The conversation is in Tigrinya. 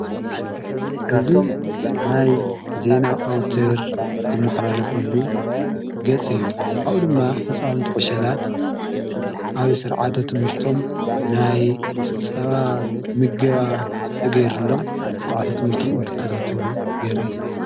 እዙ ናይ ዜና ኣውተር ዝመሕላለፈሉ ገጽ እዩ ኣኡ ድማ ሕፃዊንቲ ዕሸላት ኣዮ ሥርዓተ ትሙህርቶም ናይ ጸባ ምገባ ተገይሩሎም ሥርዓተ ትሙህርቶም እንትከታንተሉ የርኢ።